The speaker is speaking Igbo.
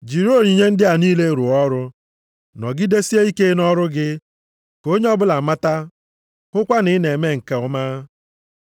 Jiri onyinye ndị a niile rụọ ọrụ, nọgidesie ike nʼọrụ gị, ka onye ọbụla mata, hụkwa na ị na-eme nke ọma.